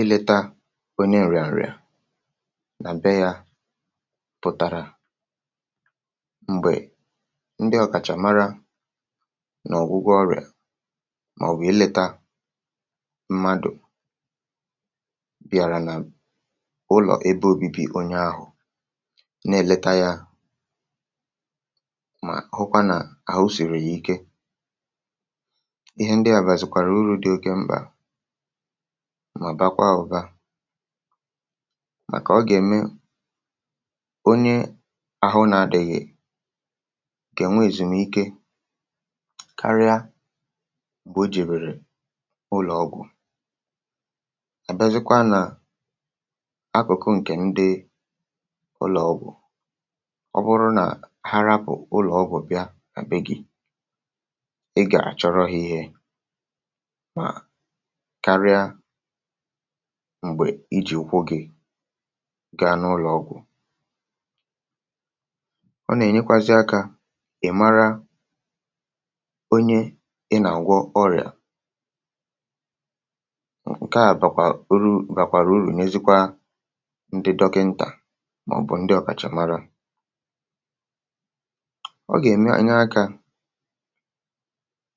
ileta onye èrịàrịà nà bee yȧ pụ̀tara m̀gbè ndị ọkàchà mara n’ọ̀gwụgwọ ọrịà màọ̀bụ̀ um ileta mmadụ̀ bịàrà n’ụlọ̀ ebe ȯbi̇bi̇ onye ahụ̀ na-èleta yȧ mà ọhụkwa nà àhụ sìrì yà ike, ihe ndịà bụ̀ àzụkwàrà urù dị oke mkpà, màbàkwa ụ̀ba, màkà ọ gà-ème onye ahụ nȧ-adị̇ghị̀ gà-ènwe èzùmike karịa bụ̀ o jìbèrè ụlọ̀ ọgwụ̀. àbezikwa nà akwụ̀kwụ ǹkè ndị ụlọ̀ ọgwụ̀ ọ bụrụ nà ha rapù ụ̀lọ̀ ọgwụ̀ bịa àbe gị̇, ị gà-àchọrọ hȧ ihė m̀gbè iji̇ ụkwụ gị gaa n’ụlọ̀ ọgwụ̀, ọ nà-ènyekwazị akȧ ị̀ mara onye ị nà-àgwọ ọrịà. ǹkè a bụ̀kwà urù, bàkwàrà urù, nyezikwa ndị dọkịntà màọ̀bụ̀ experts, ọ gà-ème ànyị akȧ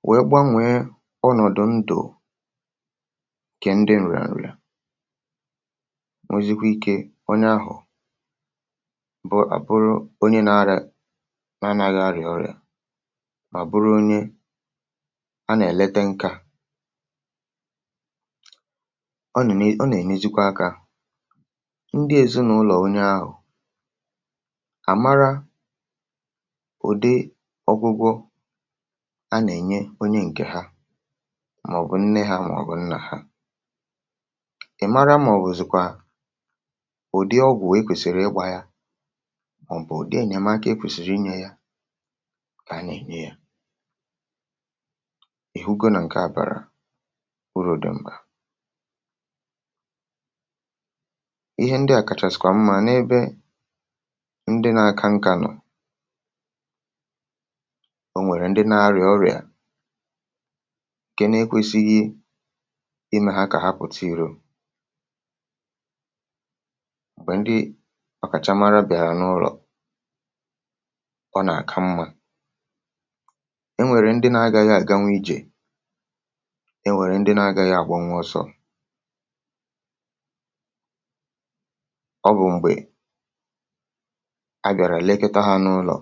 wèe gbanwèe ọnọ̀dụ̀ ndụ̀ nwezikwa ikė onye ahụ̀ bụ àbụrụ onye na-arȧ na-anaghị̇ arịà, mà bụrụ onye a nà-èlete nkȧ. ọ nà-ènezikwa akȧ ndị ezinaụlọ̀ onye ahụ̀ àmara ụ̀dị ọgwụgwọ a nà-ènye onye ǹkè ha màọ̀bụ̀ nnė ha màọ̀bụ̀ nnà ha, ị̀ mara mà ọ̀ bụ̀zịkwa ụ̀dị ọgwụ̀ wee kwèsiri ịgbȧ ya, ọ̀ bụ̀ ụ̀dị ènyèmaka ekwèsìrì inyė ya kà anya ènye ya, ìhugo nà ǹkè abàrà urù̇ dị m̀gbè ihe ndị à kàchàsị̀kwà mma n’ebe ndị nà-aka nkà nọ̀. o nwèrè ndị nà-arịà ọrịà, màkwà ndị ọ̀kàchàmara bị̀àrà n’ụlọ̀, ọ nà-àka mmȧ. enwèrè ndị na-agȧghị àgawa ijè, enwèrè ndị na-agȧghị àgwanwị ọsọ̇, ọ bụ̀ m̀gbè a bị̀àrà lekịta ha n’ụlọ̀.